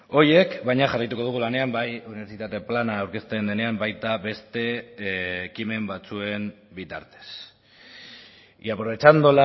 horiek baina jarraituko dugu lanean bai unibertsitate plana aurkezte denean baita beste ekimen batzuen bitartez y aprovechando